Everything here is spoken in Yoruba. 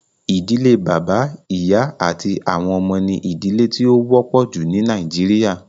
Ìdílé bàbá, ìyá, àti àwọn ọmọ ní ìdílé tí ó wọ́pọ̀ jù ní nàìjíría